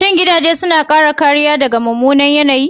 Shin gidaje suna kare kariya daga mummunan yanayi?